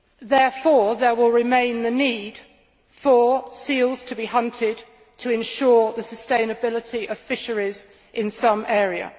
Therefore, there will remain the need for seals to be hunted to ensure the sustainability of fisheries in some area.